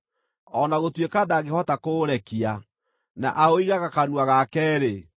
o na gũtuĩka ndangĩhota kũũrekia na aũigaga kanua gake-rĩ,